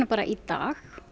í dag